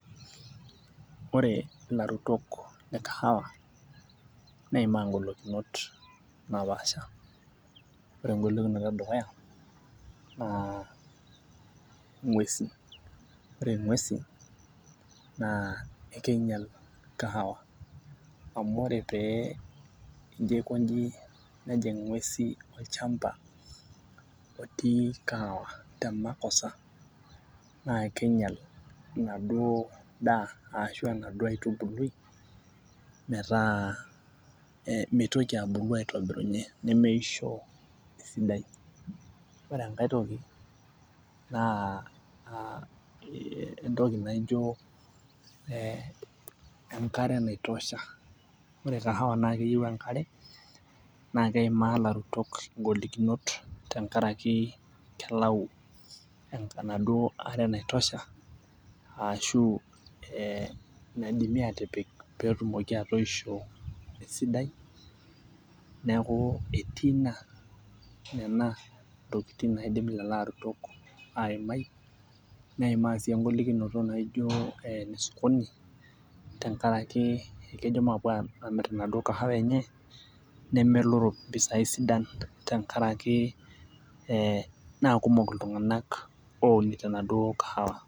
Ore ilarutok le kahawa neimaa ng'olikunot naapasha, ore egolikinoto e dukuya, naa ng'uesin ore ng'uesin naa ekeinyial kahawa amu ore pee ijo aikoji nejing ing'uesi olchampa otii kahawa te makosa. naa king'ial inaduoo daa arashu enaduo aitubului, metaa mitoki abulu aitobirunye nemeisho esidai. ore enkae toki, naa entoki naijo e enkare naotosha. ore kahawa naa keyieu enkare naa keimaa ilarutok igolikinot tenkaraki kelau enaduoo are naitosha, ashu naidimi aatipik pee etumoki atoisho esidai, neeku etii Ina Nena ntokitin naidim lelo arutok aimai. neimaa sii egolikinoto naijo ene sokoni tenkaraki kejo maape Aamir enaduoo kahawa enye. nemelo mpisai sidan tenkaraki ee naa kuumok iltunganak ounito enaduo kahawa.